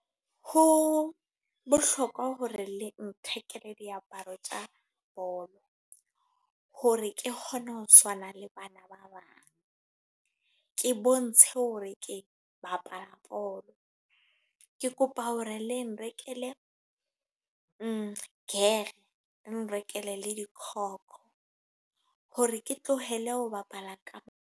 Ho bohlokwa hore le nthekele diaparo tsa bolo. Hore ke kgone ho tshwana le bana ba bang. Ke bontshe hore ke bapala bolo. Ke kopa hore le nrekele nrekele gear le nrekele le di-kock. Hore ke tlohele ho bapala ka.